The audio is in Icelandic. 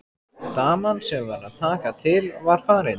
Daman sem var að taka til var farin.